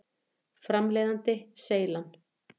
Framleiðandi: Seylan.